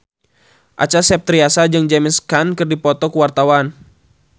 Acha Septriasa jeung James Caan keur dipoto ku wartawan